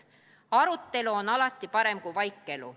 Arutelu on alati parem kui vaikelu.